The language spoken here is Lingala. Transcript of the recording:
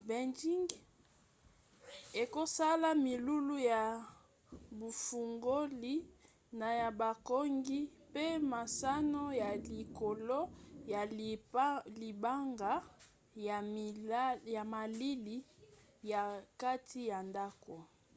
beinjing ekosala milulu ya bufongoli na ya bokangi mpe masano ya likolo ya libanga ya malili ya kati ya ndako